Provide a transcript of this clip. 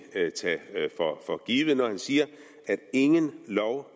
tage det for givet når han siger at ingen lov